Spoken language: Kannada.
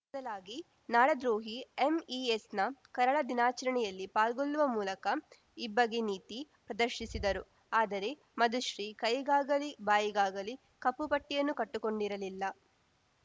ಬದಲಾಗಿ ನಾಡದ್ರೋಹಿ ಎಂಇಎಸ್‌ನ ಕರಾಳ ದಿನಾಚರಣೆಯಲ್ಲಿ ಪಾಲ್ಗೊಳ್ಳುವ ಮೂಲಕ ಇಬ್ಬಗೆ ನೀತಿ ಪ್ರದರ್ಶಿಸಿದರು ಆದರೆ ಮಧುಶ್ರೀ ಕೈಗಾಗಲಿ ಬಾಯಿಗಾಗಲಿ ಕಪ್ಪುಪಟ್ಟಿಯನ್ನು ಕಟ್ಟಿಕೊಂಡಿರಲಿಲ್ಲ